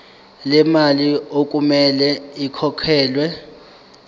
lemali okumele ikhokhelwe